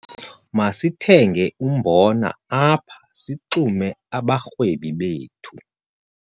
Masithenge umbona apha sixume abarhwebi bethu.